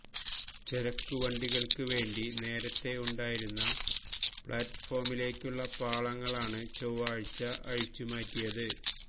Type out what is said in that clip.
ചരക്ക് വണ്ടികള്ക്ക് വേണ്ടി നേരത്തെ ഉണ്ടായിരുന്ന പ്ലാറ്റ്ഫോമിലേക്കുള്ള പാളങ്ങളാണ് ചൊവ്വാഴ്ച അഴിച്ചു മാറ്റിയത്